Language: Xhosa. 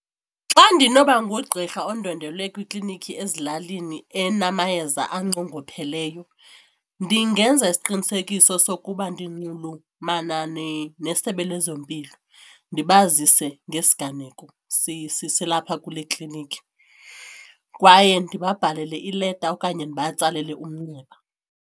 Xa ndinoba ngugqirha undwendwele kwiklinikhi ezilalini enamayeza anqongopheleyo ndingenza isiqinisekiso sokuba ndinxulumana neSebe lezeMpilo ndibazise ngesiganeko silapha kule klinikhi kwaye ndibabhalele ileta okanye ndibatsalele umnxeba.